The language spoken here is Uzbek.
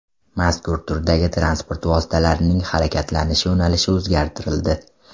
Mazkur turdagi transport vositalarining harakatlanish yo‘nalishi o‘zgartirildi.